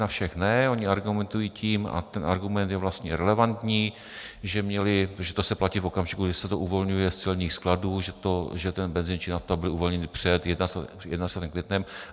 Na všech ne, oni argumentují tím, a ten argument je vlastně relevantní, že to se platí v okamžiku, kdy se to uvolňuje z celních skladů, že ten benzin či nafta byly uvolněny před 21. květnem.